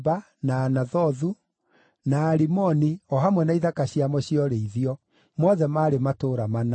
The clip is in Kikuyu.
na Anathothu, na Alimoni o hamwe na ithaka ciamo cia ũrĩithio; mothe maarĩ matũũra mana.